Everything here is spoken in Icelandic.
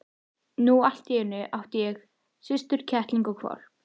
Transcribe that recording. Nú allt í einu átti hann systur, kettling og hvolp.